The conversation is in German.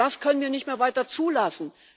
Das können wir nicht mehr weiter zulassen.